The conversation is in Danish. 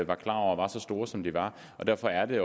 var klar over var så store som de var og derfor er det